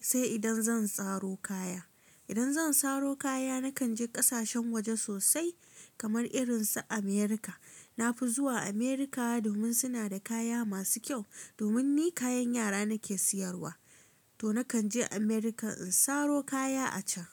sai idan zan tsaro kaya. Idan zan tsaro kaya nakan je ƙasashen waje sosai kamar irin su Amurka. Na fi zuwa Amurka domin suna da kaya masu kyau. Domin ni kayan yara nake siyarwa to nakan je Amurka in saro kaya a can.